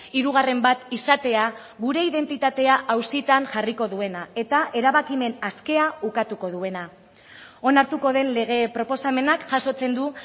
hirugarren bat izatea gure identitatea auzitan jarriko duena eta erabakimen askea ukatuko duena onartuko den lege proposamenak jasotzen du